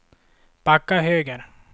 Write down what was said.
backa höger